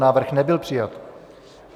Návrh nebyl přijat.